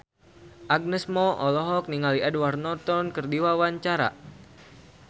Agnes Mo olohok ningali Edward Norton keur diwawancara